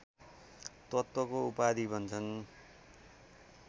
तत्त्वको उपाधि भन्छन्